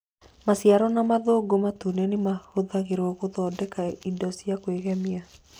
Maciaro na mathangũ matune nĩ mahũthagĩrũo gũthondeka indo cia kwĩgemia